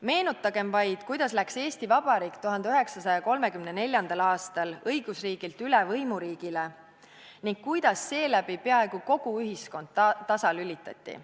Meenutagem vaid, kuidas läks Eesti Vabariik 1934. aastal õigusriigilt üle võimuriigile ning kuidas seeläbi peaaegu kogu ühiskond tasalülitati.